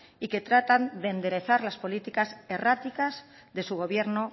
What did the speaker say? y que tratan de enderezar las políticas erráticas de su gobierno